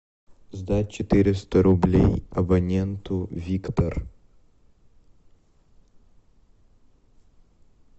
сдать четыреста рублей абоненту виктор